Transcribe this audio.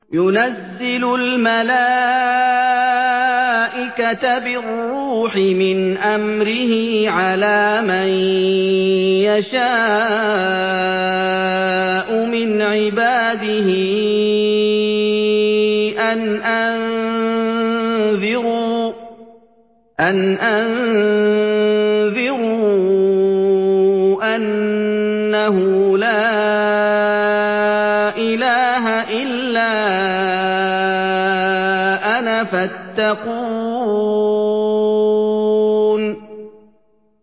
يُنَزِّلُ الْمَلَائِكَةَ بِالرُّوحِ مِنْ أَمْرِهِ عَلَىٰ مَن يَشَاءُ مِنْ عِبَادِهِ أَنْ أَنذِرُوا أَنَّهُ لَا إِلَٰهَ إِلَّا أَنَا فَاتَّقُونِ